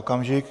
Okamžik.